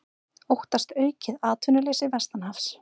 Óttast aukið atvinnuleysi vestanhafs